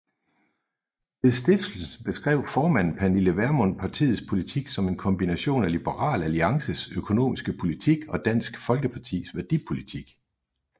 Ved stiftelsen beskrev formanden Pernille Vermund partiets politik som en kombination af Liberal Alliances økonomiske politik og Dansk Folkepartis værdipolitik